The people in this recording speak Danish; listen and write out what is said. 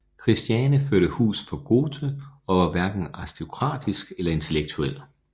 Christiane førte hus for Goethe og var hverken aristokratisk eller intellektuel